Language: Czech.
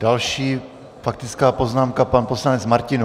Další faktická poznámka, pan poslanec Martinů.